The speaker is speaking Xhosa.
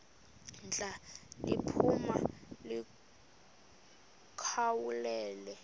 ndla liphuma likhawulele